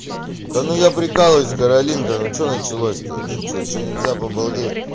да ну я прикалываюсь каролинка ну что началось то что что нельзя по балде